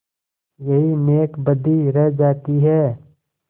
यही नेकबदी रह जाती है